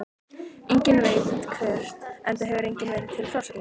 Enginn veit hvert, enda hefur enginn verið til frásagnar.